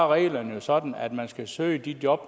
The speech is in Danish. reglerne jo sådan at man skal søge de job